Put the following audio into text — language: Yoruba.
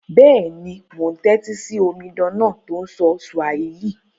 Béèni, mo n tẹ́tí si omidan náà to n sọ Swahili